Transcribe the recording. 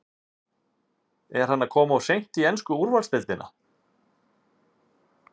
Er hann að koma of seint í ensku úrvalsdeildina?